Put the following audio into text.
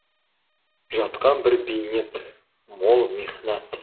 жатқан бір бейнет мол михнат